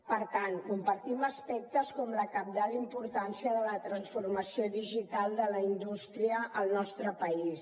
per tant compartim aspectes com la cabdal importància de la transformació digital de la indústria al nostre país